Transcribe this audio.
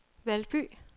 Valby